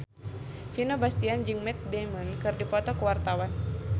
Vino Bastian jeung Matt Damon keur dipoto ku wartawan